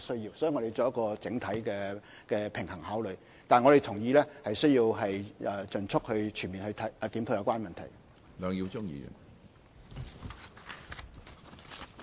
所以，在考慮時需要取得整體的平衡，但我們同意需要盡速及全面檢討有關問題。